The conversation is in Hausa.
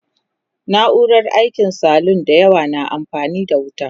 na'urar aikin salun da yawa na amfani da wuta